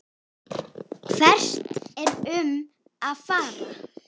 Hvert erum við að fara?